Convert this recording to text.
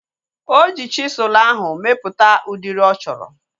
Oji chisụl ahu mepụta udiri ọ chọrọ